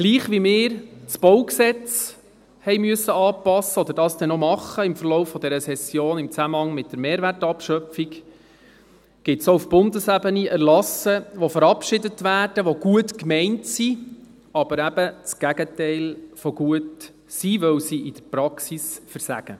Gleich wie wir das Baugesetz (BauG) anpassen mussten, oder dies dann im Verlauf dieser Session im Zusammenhang mit der Mehrwertabschöpfung noch tun werden, gibt es auch auf Bundesebene Erlasse, die verabschiedet werden, die gut gemeint sind, die aber eben das Gegenteil von gut sind, weil sie in der Praxis versagen.